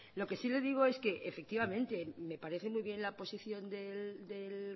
lo que sí el digo es que efectivamente me parece muy bien la posición del